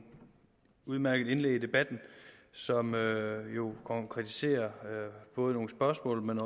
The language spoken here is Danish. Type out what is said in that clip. udmærkede indlæg i debatten som jo ikke konkretiserer nogle spørgsmål men